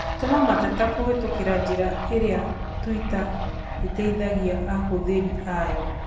Tũma mateta kũhĩtũkĩra njĩra ĩrĩa tũita ĩteithagia ahũthĩri ayo.